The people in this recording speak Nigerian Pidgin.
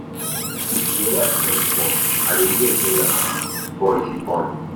Your wife don born? I dey hear say na boy she born.